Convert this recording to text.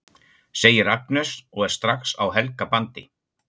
segir Agnes og er strax á Helga bandi.